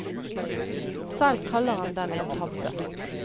Selv kaller han den en tabbe.